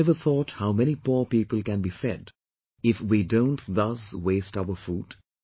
Have you ever thought how many poor people can be fed if we don't thus waste our food